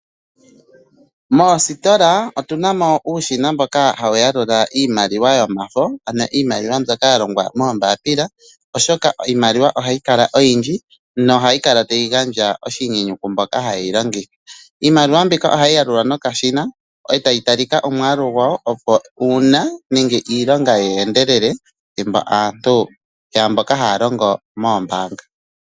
Moositola otunamo uushina mboka hawu yalula iimaliwa yomafo, iimaliwa mbyoka ya longwa moombapila oshoka iimaliwa ohayi kala oyindji nohayi kala tayi gandja oshinyenyu kwamboka hayeyi longitha. Iimaliwa mbika ohayi yalulwa noka shina etayi talika omwalu gwawo opo uuna nenge iilonga ye endelele thimbo aantu mboka haya longo moombanga.